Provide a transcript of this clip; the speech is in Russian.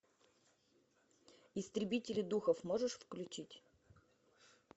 истребители духов можешь включить